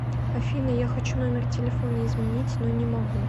афина я хочу номер телефона изменить но не могу